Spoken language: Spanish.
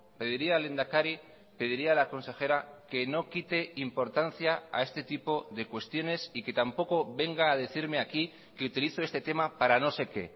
pediría al lehendakari pediría a la consejera que no quite importancia a este tipo de cuestiones y que tampoco venga a decirme aquí que utilizo este tema para no sé qué